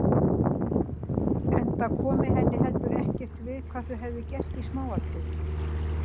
Enda kom henni heldur ekkert við hvað þau hefðu gert í smáatriðum.